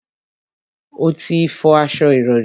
O ò tí ì fọ aṣo ìrọrí